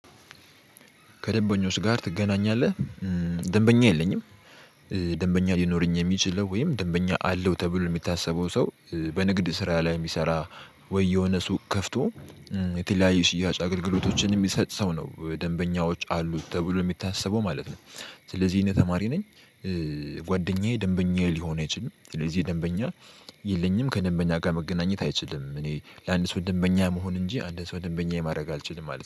ከደንበኞች ጋር ትገናኛለህ? ደንበኛ የለኝም ደንበኛ ሊኖረኝ የሚችለው ወይም ደንበኛ አለው ተብሎ የሚታሰበው ሰው በንግድ ስራ ላይ የሚሰራ ወይ የሆነ ሱቅ ከፍቶ የተለያዩ ሽያጭ አገልግሎቶችን የሚሰጥ ሰው ነው ደንበኛዎች አሉት ተብሎ የሚታሰበው ማለት ነው። ስለዚህ እኔ ተማሪ ነኝ። ጓደኛዬ ደንበኛዬ ሊሆን አይችልም ስለዚህ ደንበኛ የለኝም። ከደንበኛ ጋር መገናኘት አይችልም እኔ ለአንድ ሰው ደንበኛ መሆን እንጂ አንድን ሰው ደንበኛ ማድረግ አልችልም ማለት ነው